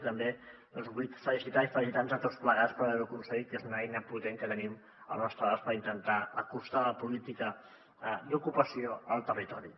i també doncs el vull felicitar i felicitar nos tots plegats per haver ho aconseguit perquè és una eina potent que tenim al nostre abast per intentar acostar les polítiques d’ocupació al territori